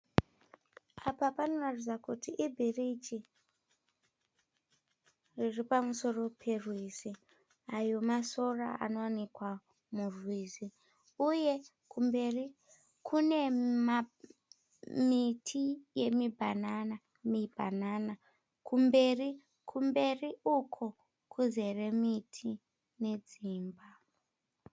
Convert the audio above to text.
Apa panoratidza kuti ibhiriji riripamusoro perwizi. Ayo masora anowanikwa murwizi. Uye kumberi kune miti yemibhanana, mibhanana kumberi, kumberi uko kuzere miti nedzimba.